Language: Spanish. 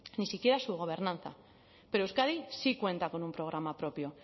ni siquiera su gobernanza pero euskadi sí cuenta con un programa propio